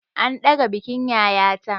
An ɗaga bikin yayata.